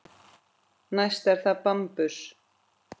Næst er það bambus.